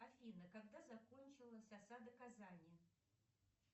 афина когда закончилась осада казани